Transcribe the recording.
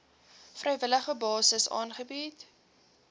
vrywillige basis aangebied